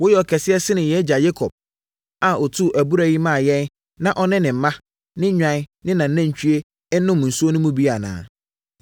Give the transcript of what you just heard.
Woyɛ ɔkɛseɛ sene yɛn agya Yakob a ɔtuu abura yi maa yɛn na ɔne ne mma, ne nnwan ne nʼanantwie nom mu nsuo bi no anaa?”